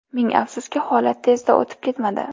Ming afsuski, holat tezda o‘tib ketmadi.